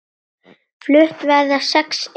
Flutt verða sex erindi.